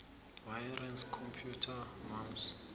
wireless computer mouse